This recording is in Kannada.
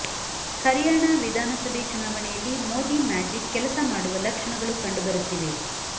ಹರಿಯಾಣಾ ವಿಧಾನಸಭೆ ಚುನಾವಣೆಯಲ್ಲಿ ಮೋದಿ ಮ್ಯಾಜಿಕ್ ಕೆಲಸ ಮಾಡುವ ಲಕ್ಷಣಗಳು ಕಂಡು ಬರುತ್ತಿವೆ